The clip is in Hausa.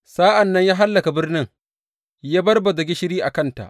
Sa’an nan ya hallaka birnin ya barbaza gishiri a kanta.